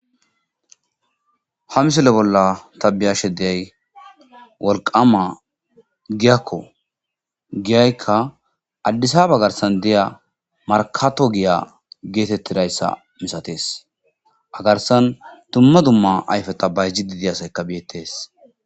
ha misole bolla tabiyashe deay wolqama giyakko giyaykka addisaba garsan diya markato giya geetettidayssa misatees agarsan dumma dumma ayfe ta bayji didi asayka biettees